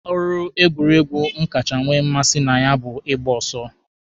Ọrụ egwuregwu m kacha nwee mmasị na ya bụ ịgba ọsọ.